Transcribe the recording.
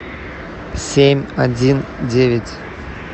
семь один девять